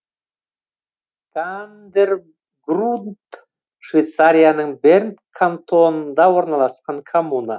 кандергрунд швейцарияның берн кантонында орналасқан коммуна